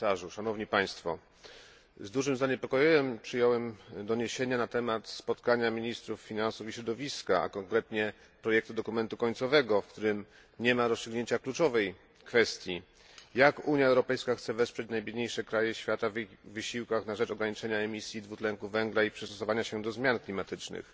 Z dużym zaniepokojeniem przyjąłem doniesienia na temat spotkania ministrów finansów i środowiska, a konkretnie projektu dokumentu końcowego, w którym nie ma rozstrzygnięcia kluczowej kwestii Jak Unia Europejska chce wesprzeć najbiedniejsze kraje świata w ich wysiłkach na rzecz ograniczenia emisji dwutlenku węgla i przystosowania się do zmian klimatycznych?